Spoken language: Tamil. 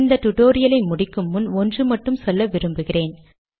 இந் டுடோரியலை முடிக்கும் முன் ஒன்று மட்டும் சொல்ல விரும்புகிறேன்